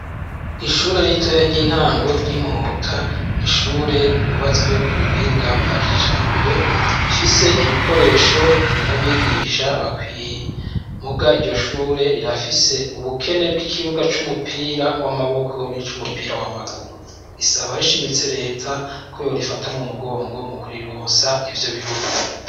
Ishure ritoya ry’intango ry’imuhota, n'ishure ry’ubatswe kubuhinga bwa kijambere, rifise ibikoresho n’abigisha bakwiye, mugabo iryo shure rirafise ubukene bwikibuga cumupira wamaboko ni cumupira wamaguru bisaba bishimitse reta koyorifata mumugongo mukurironsa ivyo bibura.